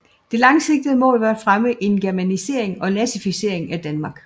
Det langsigtede mål var at fremme en germanisering og nazificering af Danmark